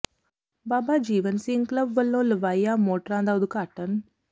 ਬਾਬਾ Jiwan Singh club ਵੱਲੋਂ ਲਵਾਈਆਂ ਮੋਟਰਾਂ ਦਾ ਉਦਘਾਟਨ